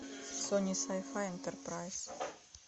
сони сай фай энтерпрайз